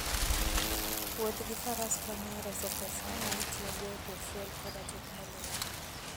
Wuoth gi Faras konyo e reso pesa ma itiyogo e petrol koda teknoloji.